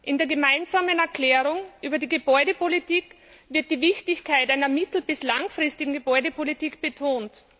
In der Gemeinsamen Erklärung über die Gebäudepolitik wird die Wichtigkeit einer mittel bis langfristigen Gebäudepolitik betont.